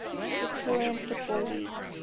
victorian football league